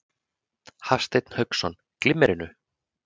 Hafsteinn Hauksson: Glimmerinu?